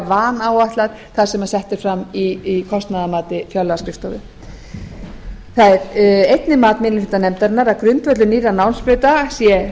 vanáætlað sem sett er fram í kostnaðarmati fjárlagaskrifstofu það er einnig mat minni hluta nefndarinnar að grundvöllur nýrra námsbrauta sé